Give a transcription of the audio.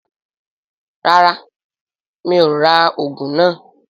Rárá, mi ò rà òògùn náà